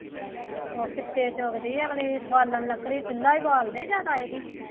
ਉਹ ਡੱਕੇ ਚੁੱਗਦੇ ਅਗਲੇ, ਬਾਲਣ, ਲੱਕੜੀ ਚੁੱਲਾ ਹੀ ਬਾਲਦੇ ਜ਼ਿਆਦਾ